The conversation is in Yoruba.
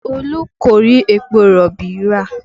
Olú kò rí epo rọ̀bì rà